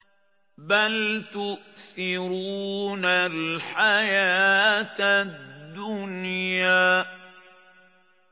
بَلْ تُؤْثِرُونَ الْحَيَاةَ الدُّنْيَا